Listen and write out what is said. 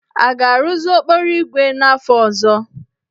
A ga-arụzi okporoígwè n'afọ ọzọ?